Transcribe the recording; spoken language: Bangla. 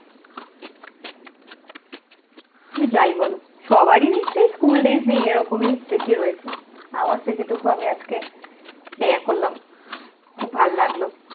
কিন্তু যাই বলো, সবারই নিশ্চয়ই school days নিয়ে এই রকমই স্মৃতি রয়েছে। আমার স্মৃতিটুকু আজকে আমি share করলাম, খুব ভাল লাগলো।